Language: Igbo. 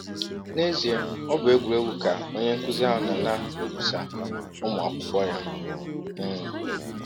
N’ezie, ọ bụ egwụregwụ ka onye nkụzi ahụ nọ na - egwụsa ụmụ akwụkwọ ya. um